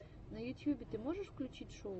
на ютьюбе ты можешь включить шоу